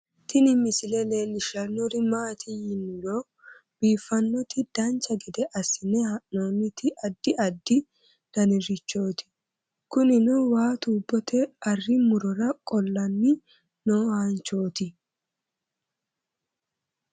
Tini misile leellishshannori maati yiniro biiffannoti dancha gede assine haa'noonniti addi addi danirichooti kunino waa tubotte arri murora qolanni nooanchooti